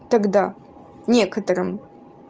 тогда некоторым